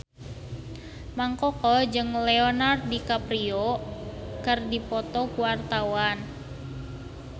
Mang Koko jeung Leonardo DiCaprio keur dipoto ku wartawan